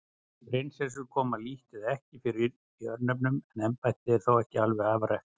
Prinsessur koma lítt eða ekki fyrir í örnefnum en embættið er þó ekki alveg afrækt.